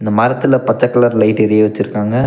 மரத்துல பச்ச colour light எரிய வச்சுருக்காங்க.